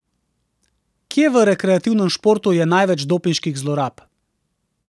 Kje v rekreativnem športu je največ dopinških zlorab?